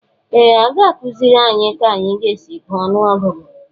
Ee! A ga-akụziri anyị ka anyị ga-esi gụọ ọnụọgụgụ